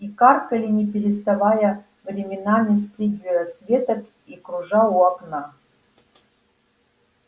и каркали не переставая временами спрыгивая с веток и кружа у окна